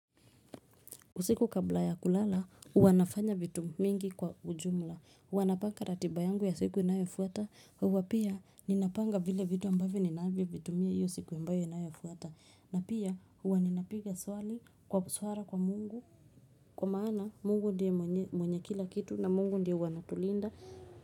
Usiku kabla ya kulala huwa nafanya vitu mingi kwa ujumla huwa napanga ratiba yangu ya siku inayafuata huwa pia ninapanga vile vitu ambavyo ninavyo vitumia ile siku ambayo inayofuata na pia uwa ninapiga swali kwa swala kwa mungu Kwa maana Mungu ndie mwenye kila kitu na mungu ndie anatulinda.